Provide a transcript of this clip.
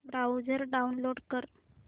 browser download कर